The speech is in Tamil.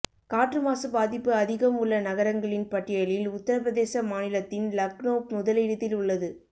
காற்று மாசு பாதிப்பு அதிகம் உள்ள நகரங்களின் பட்டியலில் உத்திரபிரதேச மாநிலத்தின் லக்னோவ் முதலிடத்தில் உள்ளது